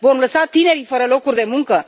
Vom lăsa tinerii fără locuri de muncă?